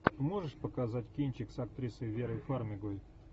можешь показать кинчик с актрисой верой фармигой